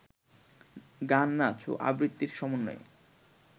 গান, নাচ ও আবৃত্তির সমন্বয়ে